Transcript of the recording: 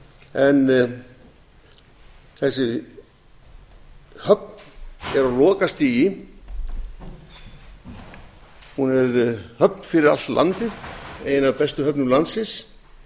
en þessi höfn er á lokastigi hún er höfn fyrir allt landið ein af bestu höfnum landsins